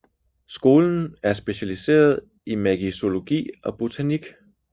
Skolens er specialiseret i magizologi og botanik